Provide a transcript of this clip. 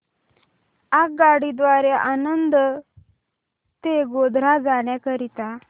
आगगाडी द्वारे आणंद ते गोध्रा जाण्या करीता